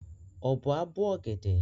Ọ̀bọ á bó ọ̀gẹ̀dẹ̀.